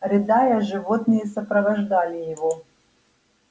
рыдая животные сопровождали его